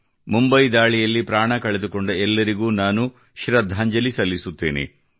ಮುಂಬೈ ದಾಳಿಯಲ್ಲಿ ಪ್ರಾಣ ಕಳೆದುಕೊಂಡ ಎಲ್ಲರಿಗೂ ನಾನು ಶ್ರದ್ಧಾಂಜಲಿ ಸಲ್ಲಿಸುತ್ತೇನೆ